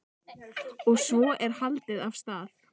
Og svo er haldið af stað.